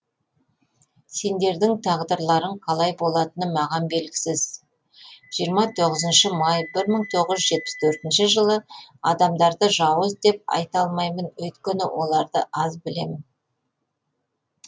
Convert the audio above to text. сендердің тағдырларың қалай болатыны маған белгісіз жиырма тоғызыншы май бір мың тоғызжүз жепіс төртінші жыл адамдарды жауыз деп айта алмаймын өйткені оларды аз білемін